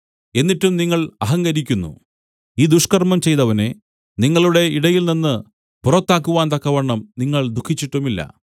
എന്നിട്ടും നിങ്ങൾ അഹങ്കരിക്കുന്നു ഈ ദുഷ്കർമ്മം ചെയ്തവനെ നിങ്ങളുടെ ഇടയിൽനിന്ന് പുറത്താക്കുവാൻ തക്കവണ്ണം നിങ്ങൾ ദുഃഖിച്ചിട്ടുമില്ല